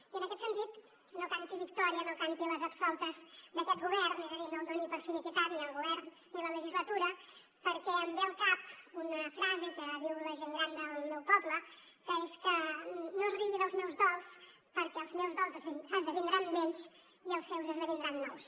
i en aquest sentit no canti victòria no canti les absoltes d’aquest govern és a dir no el doni per liquidat ni el govern ni la legislatura perquè em ve al cap una frase que diu la gent gran del meu poble que és que no es rigui dels meus dols perquè els meus dols esdevindran vells i els seus esdevindran nous